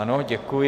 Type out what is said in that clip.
Ano, děkuji.